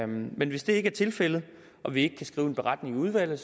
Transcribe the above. men hvis det ikke er tilfældet og vi ikke kan skrive en beretning i udvalget